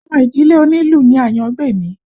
Ọmọ ìdílé onílù ni Àyángbèmí